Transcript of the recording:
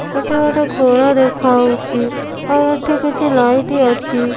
ଗୋଟେ ଘର ଦେଖା ହଉଛି ଆଉ ଏଠି କିଛି ଲାଇଟ ଅଛି।